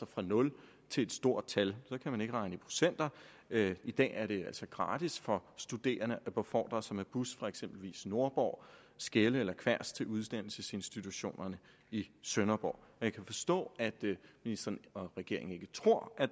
fra nul til et stort tal så kan man ikke regne i procenter i dag er det altså gratis for studerende at blive befordret med bus fra for eksempel nordborg skelde og kværs til uddannelsesinstitutionerne i sønderborg jeg kan forstå at ministeren og regeringen ikke tror at